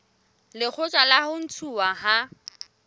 lekgotla la ho ntshuwa ha